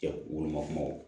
Olu ma kuma o